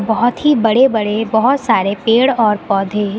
बहुत ही बड़े बड़े बहुत सारे पेड़ और पौधे--